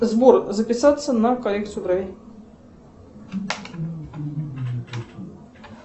сбор записаться на коррекцию бровей